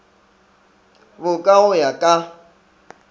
bo ka go ya ka